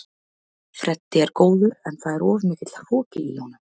Freddi er góður en það er of mikill hroki í honum.